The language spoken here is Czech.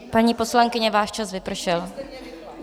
Paní poslankyně, váš čas vypršel.